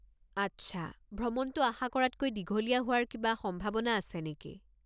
আচ্ছা, ভ্ৰমণটো আশা কৰাতকৈ দীঘলীয়া হোৱাৰ কিবা সম্ভাৱনা আছে নেকি?